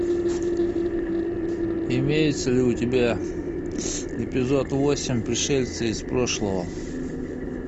имеется ли у тебя эпизод восемь пришельцы из прошлого